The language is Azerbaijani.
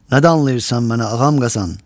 Nədən alırsan mənə ağam qazan?